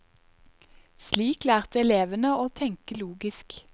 Slik lærte elevene å tenke logisk.